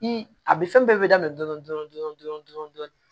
I a bi fɛn bɛɛ bɛ daminɛ dɔɔnin dɔɔnin dɔrɔn